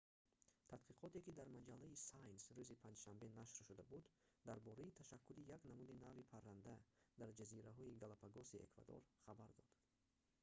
тадқиқоте ки дар маҷаллаи science рӯзи панҷшанбе нашр шуда буд дар бораи ташаккули як намуди нави парранда дар ҷазираҳои галапагоси эквадор хабар дод